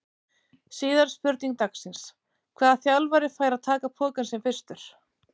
Síðari spurning dagsins: Hvaða þjálfari fær að taka pokann sinn fyrstur?